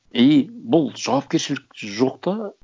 и бұл жауапкершілік жоқ та